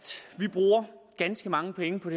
vi bruger ganske mange penge på